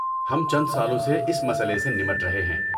ہم چند سالوں سے اس مسئلے سے نمٹ رہے ہیں۔